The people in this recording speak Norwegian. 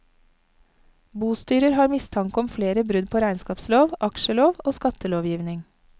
Bostyrer har mistanke om flere brudd på regnskapslov, aksjelov og skattelovgivning.